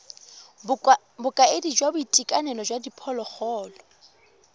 bokaedi jwa boitekanelo jwa diphologolo